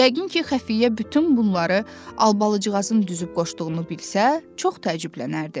Yəqin ki, xəfiyyə bütün bunları Albalıcığazın düzüb qoşduğunu bilsə, çox təəccüblənərdi.